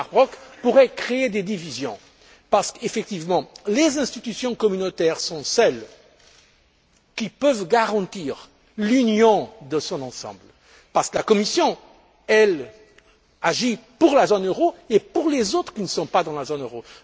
M. Elmar Brok, pourraient créer des divisions parce que ce sont les institutions communautaires qui peuvent garantir l'union dans son ensemble, parce que la Commission, elle, agit pour la zone euro et pour les États qui ne sont pas dans la zone euro.